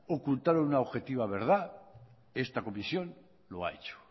ocultar una objetiva verdad esta comisión lo ha hecho